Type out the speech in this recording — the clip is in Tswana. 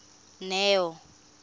neo